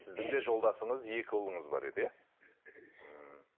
сіздің де жолдасыңыз екі ұлыңыз бар еді иә ммм